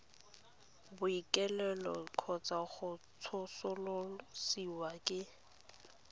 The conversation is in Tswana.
bookelong kgotsa go tsosolosiwa ke